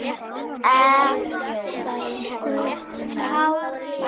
Elsku Kári.